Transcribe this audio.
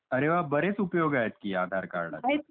अरे वा बरेच, उपयोग आहेत कि आधार कार्डाचे !